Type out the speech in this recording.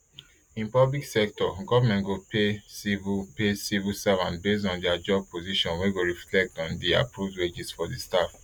in public sector goment go pay civil pay civil servant based on dia job position wey go reflect on di approved wages for di staff